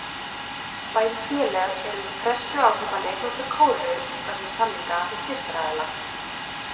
Bæði félög eru undir pressu á að kaupa leikmann frá Kóreu vegna samninga við styrktaraðila.